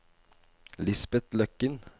Lisbet Løkken